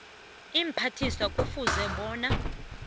iimphathiswa kufuze bona